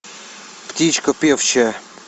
птичка певчая